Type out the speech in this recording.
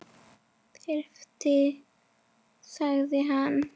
Þyrftir sagði hann.